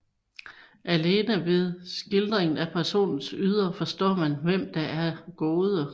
Alene gennem skildringen af personernes ydre forstår man hvem der er gode